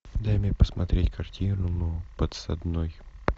дай мне посмотреть картину подсадной